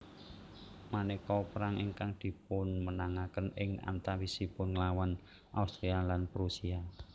Manéka perang ingkang dipunmenangaken ing antawisipun nglawan Austria lan Prusia